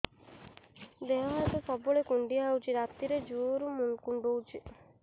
ଦେହ ହାତ ସବୁବେଳେ କୁଣ୍ଡିଆ ହଉଚି ରାତିରେ ଜୁର୍ କୁଣ୍ଡଉଚି